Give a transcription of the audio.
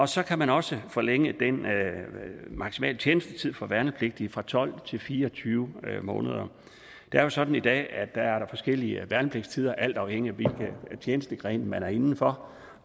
så kan man også forlænge den maksimale tjenestetid for værnepligtige fra tolv til fire og tyve måneder det er jo sådan i dag at der er forskellige værnepligtstider alt afhængigt af hvilken tjenestegren man er inden for